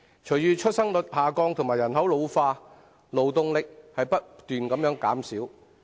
隨着出生率下降及人口老化，勞動力只會不斷減少。